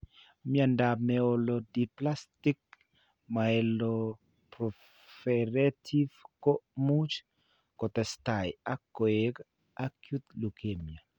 Mnyandoap Myelodysplastic/myeloproliferative ko much kotestai ak koek acute leukemia.